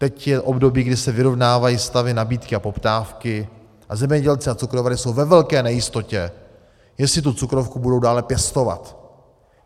Teď je období, kdy se vyrovnávají stavy nabídky a poptávky a zemědělci a cukrovary jsou ve velké nejistotě, jestli tu cukrovku budou dále pěstovat.